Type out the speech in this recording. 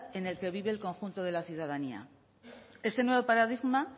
en el que vive el conjunto de la ciudadanía ese nuevo paradigma